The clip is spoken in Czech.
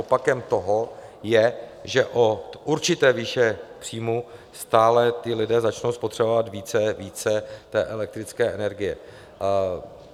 Opakem toho je, že od určité výše příjmů stále ti lidé začnou spotřebovávat více a více elektrické energie.